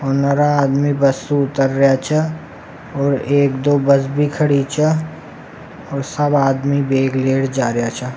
पंद्रह आदमी बस से उत्तर रिया छे और एक दो बस भी खड़ी छे और सब आदमी बेग ले र जा रिया छे।